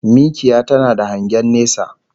Mikiya tana da hangen nesa